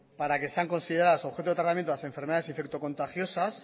para que sean consideradas objeto de tratamiento las enfermedades infecto contagiosas